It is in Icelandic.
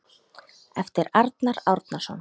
eftir Arnar Árnason